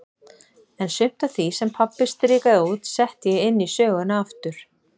En sumt af því, sem pabbi strikaði út, setti ég inn í söguna aftur.